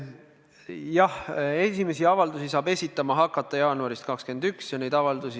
Jah, esimesi avaldusi saab esitama hakata jaanuaris 2021.